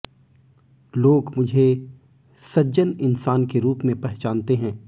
लोग मुझे सज्जन इंसान के रूप में पहचानते हैं